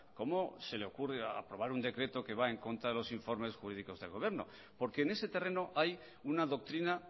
cómo se le ocurre aprobar un decreto que va en contra de los informes jurídicos del gobierno porque en ese terreno hay una doctrina